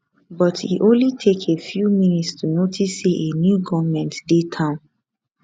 but e only take a few minutes to notice say a new goment dey town